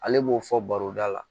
Ale b'o fɔ baro da la